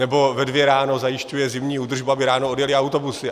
Nebo ve dvě ráno zajišťuje zimní údržbu, aby ráno odjely autobusy.